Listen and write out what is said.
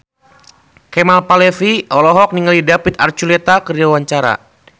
Kemal Palevi olohok ningali David Archuletta keur diwawancara